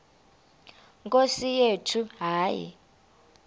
nkosi yethu hayi